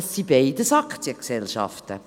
Beide sind Aktiengesellschaften.